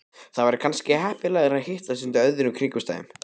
Það væri kannski heppilegra að hittast undir öðrum kringumstæðum